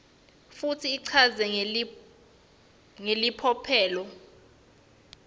futsi ichazwe ngelicophelo